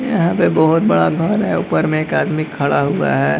यहाँ पे बहुत बड़ा घर है ऊपर एक आदमी खड़ा है।